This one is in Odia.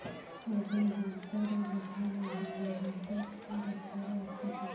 ଆଜ୍ଞା ଦାନ୍ତରେ ବଥା ଲାଗୁଚି ଦାନ୍ତ ଡାକ୍ତର ଅଛି କି